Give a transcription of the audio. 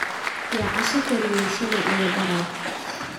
yaa casha kariyay shalay iyo darrad